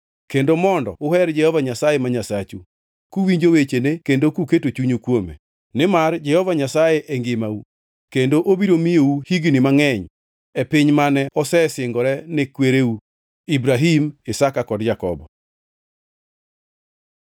kendo mondo uher Jehova Nyasaye ma Nyasachu, kuwinjo wechene kendo kuketo chunyu kuome. Nimar Jehova Nyasaye e ngimau, kendo obiro miyou higni mangʼeny e piny mane osesingore ne kwereu Ibrahim, Isaka kod Jakobo.